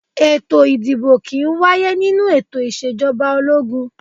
Ètò ìdìbò kì í wáyé nínú ètò Ìṣèjọba ológun